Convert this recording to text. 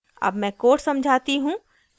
अब मैं code समझाती हूँ